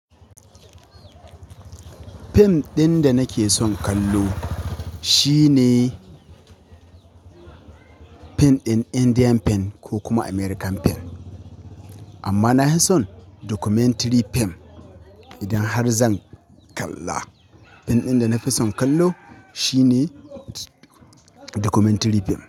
Fim ɗin da nake son kallo shine fin ɗin Indian fin ko kuma American fin. Amma nahi son documentary fin idan har zan kalla. Fin ɗin da nafi son kallo shine documentary fim.